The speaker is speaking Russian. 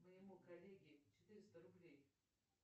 моему коллеге четыреста рублей